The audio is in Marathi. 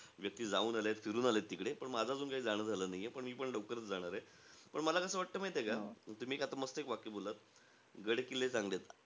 व्यक्ती जाऊन आलेय, फिरून आलेयत तिकडे. पण माझं अजून काही जाणं झालं नाहीये. पण मीपण लवकरचं जाणारे. पण मला कस वाटतं माहितेय का? तुम्ही आता मस्त एक वाक्य बोललात. गड किल्ले चांगले आहेत.